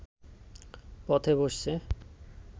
পথে বসছে